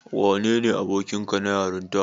Wanene abokinka na yarinta?